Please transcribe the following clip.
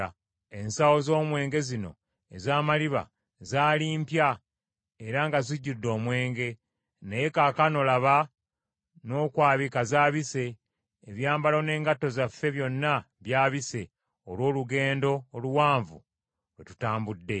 Ensawo z’omwenge zino ez’amaliba zaali mpya era nga zijjudde omwenge, naye kaakano laba n’okwabika zaabise; ebyambalo n’engatto zaffe byonna byabise olw’olugendo oluwanvu lwe tutambudde.”